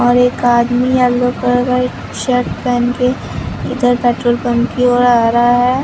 और एक आदमी येलो कलर का शर्ट पेहनके इधर पेट्रोल पंप की ओर आ रहा है।